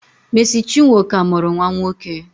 Mercy chinwo ka muru nwa nwoke.